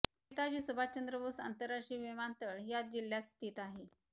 नेताजी सुभाषचंद्र बोस आंतरराष्ट्रीय विमानतळ ह्याच जिल्ह्यात स्थित आहे